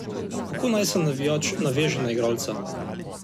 Kako naj se navijač naveže na igralca?